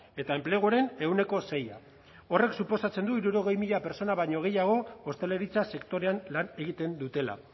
eta enpleguaren ehuneko sei horrek suposatzen du hirurogei mila pertsona baino gehiago ostalaritza sektorean lan egiten dutela